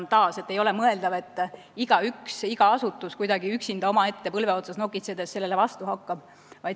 Taas, ei ole mõeldav, et iga asutus üksinda omaette põlve otsas nokitsedes sellele vastu hakkab.